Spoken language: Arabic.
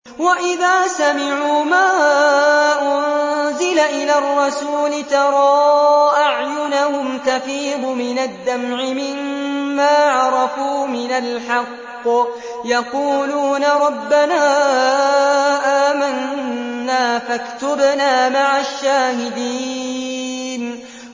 وَإِذَا سَمِعُوا مَا أُنزِلَ إِلَى الرَّسُولِ تَرَىٰ أَعْيُنَهُمْ تَفِيضُ مِنَ الدَّمْعِ مِمَّا عَرَفُوا مِنَ الْحَقِّ ۖ يَقُولُونَ رَبَّنَا آمَنَّا فَاكْتُبْنَا مَعَ الشَّاهِدِينَ